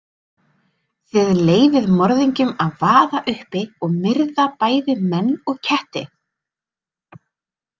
Þið leyfið morðingjum að vaða uppi og myrða bæði menn og ketti.